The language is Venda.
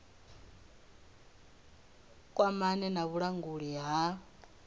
vha kwamane na vhulanguli ha